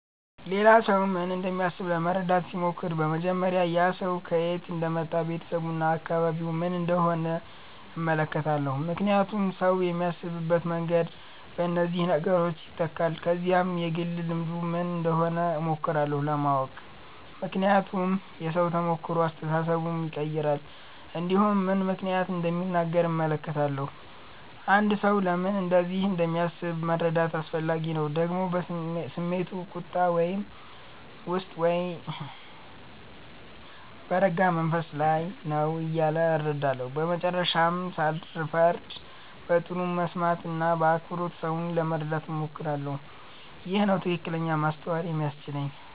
ሌላ ሰው ምን እንደሚያስብ ለመረዳት ሲሞክር በመጀመሪያ ያ ሰው ከየት እንደመጣ ቤተሰቡ እና አካባቢው ምን እንደሆነ እመለከታለሁ ምክንያቱም ሰው የሚያስብበት መንገድ በእነዚህ ነገሮች ይተካል ከዚያም የግል ልምዱ ምን እንደሆነ እሞክራለሁ ለማወቅ ምክንያቱም የሰው ተሞክሮ አስተሳሰቡን ይቀይራል እንዲሁም ምን ምክንያት እንደሚናገር እመለከታለሁ አንድ ሰው ለምን እንደዚህ እንደሚያስብ መረዳት አስፈላጊ ነው ደግሞ ስሜቱ ቁጣ ውስጥ ነው ወይስ በረጋ መንፈስ ነው እያለ እረዳለሁ በመጨረሻም ሳልፈርድ በጥሩ መስማት እና በአክብሮት ሰውን ለመረዳት እሞክራለሁ ይህ ነው ትክክለኛ ማስተዋል የሚያስችለኝ